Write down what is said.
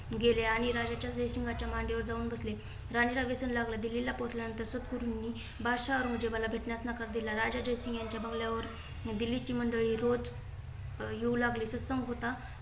गेले आणि राज्याच्या रेश्माच्या मांडीवर जाऊन बसले. राणीला वचन लागला. दिल्ली ला पोहोचल्या नंतर सद्गुरूंनी बादशाह औरंगजेबाला भेटण्यास नकार दिला. राजा जयसिंग यांच्या बंगल्यावर दिल्लीची मंडळी रोज येऊ लागली. सत्संग होता